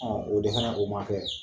O de fɛnɛ o ma kɛ